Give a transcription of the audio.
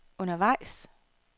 undervejs